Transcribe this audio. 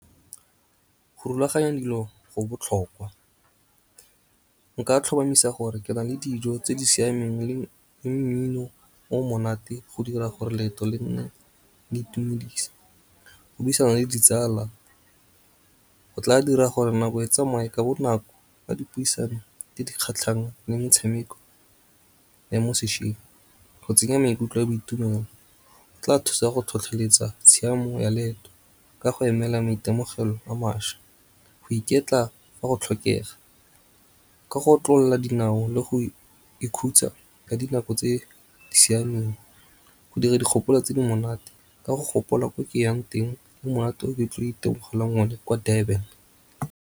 Go rulaganya dilo go botlhokwa. Nka tlhomamisa gore ke na le dijo tse di siameng le mmino o monate go dira gore leeto le nne le itumedisa. Go buisana le ditsala go tla dira gore nako e tsamaye ka bonako ka dipuisano tse di kgatlhang le metshameko ya mo sešweng. Go tsenya maikutlo a boitumelo go tla thusa go tlhotlheletsa tshiamo ya leeto ka go emela maitemogelo a mašwa, go iketla fa go tlhokega. Ka go otlolla dinao le go ikhutsa ka dinako tse di siameng go dira dikgopolo tse di monate ka go gopola ko ke yang teng, mo monate o ke tlo itemogelang one kwa Durban.